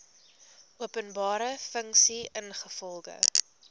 openbare funksie ingevolge